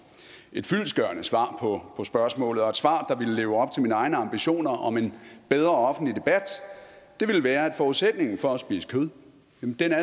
et fyldestgørende svar på spørgsmålet og et svar der ville leve op til mine egne ambitioner om en bedre offentlig debat ville være at forudsætningen for at spise kød